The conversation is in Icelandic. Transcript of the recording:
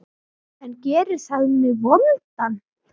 En gerir það mig vondan?